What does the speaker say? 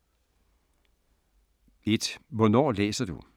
1) Hvornår læser du?